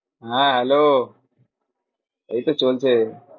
হ্যাঁ hello এই তো চলছে।